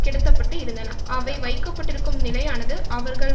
கிடத்தப்பட்டு இருந்தன அவை வைக்க பட்டிருக்கும் நிலையானது அவர்கள்